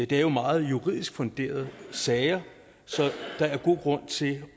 det er jo meget juridisk funderede sager så der er god grund til